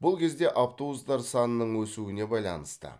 бұл кезде автобустар санының өсуіне байланысты